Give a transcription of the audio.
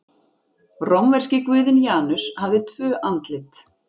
Rómverski guðinn Janus hafði tvö andlit.